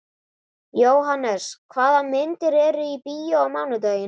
Jóhannes, hvaða myndir eru í bíó á mánudaginn?